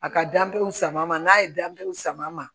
A ka danbew sama n'a ye danbew sama